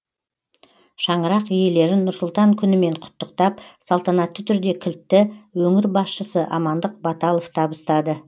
шаңырақ иелерін нұр сұлтан күнімен құттықтап салтанатты түрде кілтті өңір басшысы амандық баталов табыстады